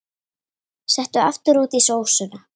Settu aftur út í sósuna.